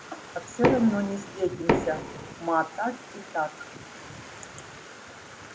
а всё равно не встретимся ма так и так